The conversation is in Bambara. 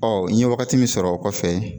n ye wagati min sɔrɔ o kɔfɛ